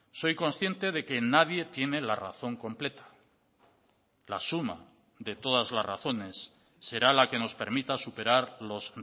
soy consciente de que nadie tiene la razón completa la suma de todas las razones será la que nos permita superar los